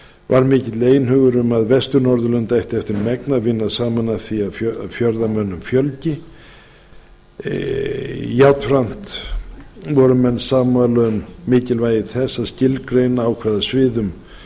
var mikill einhugur um að vestur norðurlönd ættu eftir megni að vinna saman að því að auka fjölda ferðamanna í löndunum jafnframt voru menn sammála um að mikilvægi þess að skilgreina á hvaða sviðum